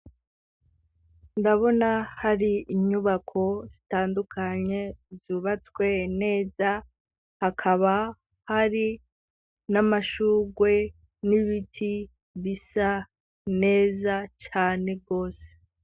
Ndabona hari inyubako zitandukanye, zubatswe neza, hakaba hari n'amashurwe, n'ibiti, bisa neza cane rwose.